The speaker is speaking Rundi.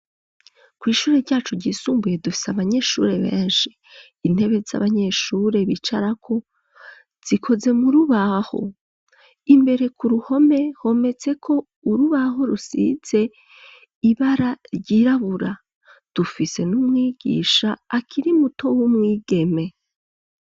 Kwishuri ryacu ryisumbuye dufise abanyeshuri benshi . Intebe z'abanyeshuri bicarako zikoze mu rubaho . Imbere ku ruhome hometse ko urubaho rusize ibara ryirabura dufise n'umwigisha akiri muto w'umwigeme.